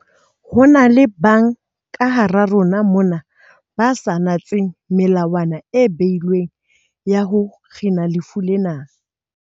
Ho na le ba bang ka hara rona mona ba sa natseng melawana e beilweng ya ho kgina lefu lena.